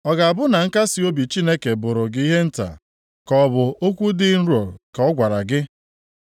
Ọ ga-abụ na nkasiobi Chineke bụrụ gị ihe nta, ka ọ bụ okwu dị nro nke ọ gwara gị?